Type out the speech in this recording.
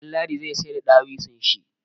Ɗanladi zai sayar da dawisun shi.